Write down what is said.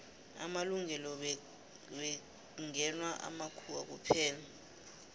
amalungelo bekngewa makhuwa kuphela